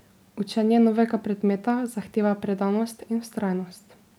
Učenje novega predmeta zahteva predanost in vztrajnost.